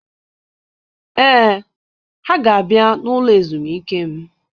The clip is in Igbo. Ee, ha-ga abịa n'ụlọ ezumike m.